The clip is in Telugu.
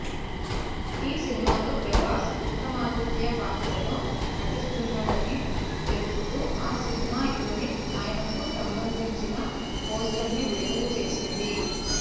ఈ సినిమాలో ప్రభాస్ విక్రమాదిత్య పాత్రలో నటిస్తున్నాడని తెలుపుతూ ఆ సినిమా యూనిట్ ఆయనకు సంబంధించిన పోస్టర్ను విడుదల చేసింది